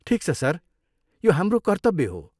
ठिक छ सर, यो हाम्रो कर्तव्य हो।